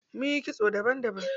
Munyi kitso daban daban.